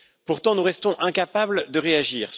Pourtant, nous restons incapables de réagir.